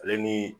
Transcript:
Ale ni